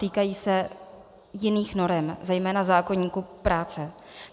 Týkají se jiných norem, zejména zákoníku práce.